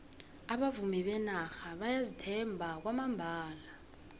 abavumi benarha bayazithemba kwamambala